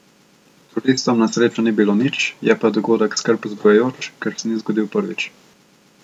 Turistom na srečo ni bilo nič, je pa dogodek skrb zbujajoč, ker se ni zgodil prvič.